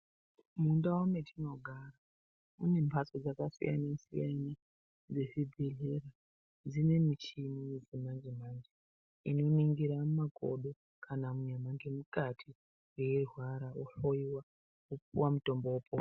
Mundau matinogara mune mbatso dzakati siyanei siyanei dzezvibhedhlera dzine michini yechimanje manje inoningira makodo kana nyama nemukati weirwara wohloiwa wopuwa mutombo wopona.